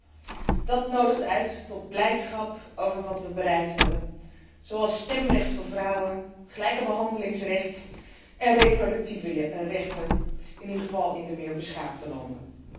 Die nodigt uit tot blijdschap over wat we bereikt hebben, zoals stemrecht voor vrouwen, het recht op gelijke behandeling en reproductieve rechten, in ieder geval in de meer beschaafde landen.